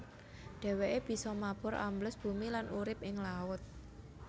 Dhèwèké bisa mabur ambles bumi lan urip ing laut